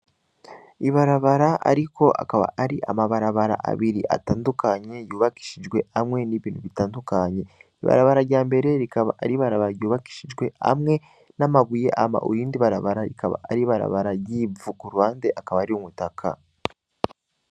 Ibarabara aariko akaba ari amabarabara abiri atandukanye yubakishijwe amwe n,ibintu bitandukanye ibarabara ryambere rikaba ari ibarabara ry,ubakishijwe amwe n,amabuye hama irindi akaba ari ibarabara ry,ivu hama iruhande hakaba hariho umutaka